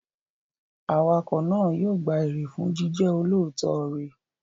Awakọ̀ náà yóò gba èrè fún jíjẹ́ olóòótọ́ rẹ̀.